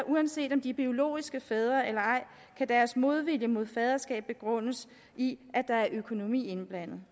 uanset om de er biologiske fædre eller ej kan deres modvilje mod faderskab begrundes i at der er økonomi indblandet